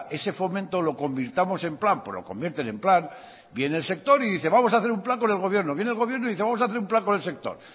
ese fomento lo convirtamos en plan pues lo convierten en plan viene el sector y dice vamos a hacer un plan con el gobierno viene el gobierno y dice vamos a hacer un plan con el sector